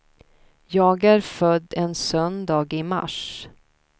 Jag är född en söndag i mars.